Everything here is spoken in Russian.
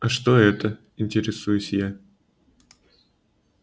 а что это интересуюсь я